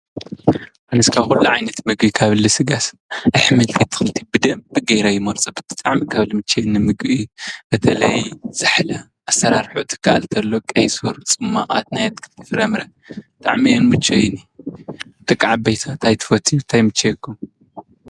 ኣነስ ካብ ኩሉ ዓይነት ምግቢ ስጋስ ኣሕምልቲ ብደንቢ ገይረ ይመርፆ ::ብጣዕሚ ካብ ልምችወኒ ንምግቢ በተለይ ዛሕላ ኣሰራርሓ ትካኣል ተሎ ቀይስር፣ ፅሟቓት ናይ ኣትክልቲ ፍረፍምረ ብጣዕሚ እዮም ዝምቸይኒ ደቂ ዓበይቲ ኸ እንታይ ትፈትው እንታይ ይምችየኩም?